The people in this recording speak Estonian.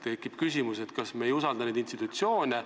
Tekib küsimus, kas me ei usalda neid institutsioone.